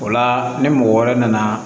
O la ni mɔgɔ wɛrɛ nana